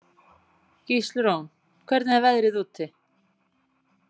Gíslrún, hvernig er veðrið úti?